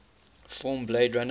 film blade runner